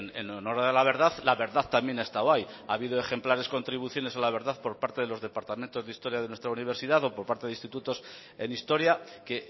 en honor la verdad la verdad también estaba ahí ha habido ejemplares contribuciones a la verdad por parte de los departamentos de historia de nuestra universidad o por parte de institutos en historia que